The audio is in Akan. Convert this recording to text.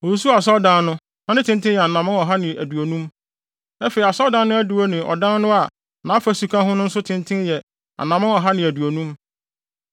Osusuw asɔredan no, na ne tenten yɛ anammɔn ɔha ne aduonum, afei asɔredan no adiwo ne ɔdan no a nʼafasu ka ho no nso tenten yɛ anammɔn ɔha ne aduonum.